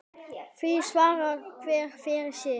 Því svarar hver fyrir sig.